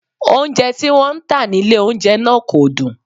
Oúnjẹ tí wọ́n ń tà nílé oúnjẹ náà kò dùn